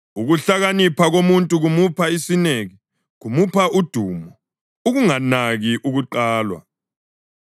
Ukuhlakanipha komuntu kumupha isineke; kumupha udumo ukunganaki ukuqalwa.